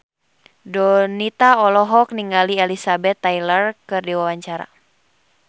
Donita olohok ningali Elizabeth Taylor keur diwawancara